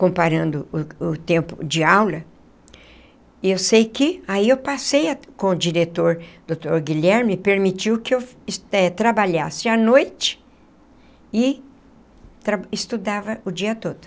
comparando o o tempo de aula, eu sei que aí eu passei com o diretor, doutor Guilherme, permitiu que eu eh trabalhasse à noite e estudava o dia todo.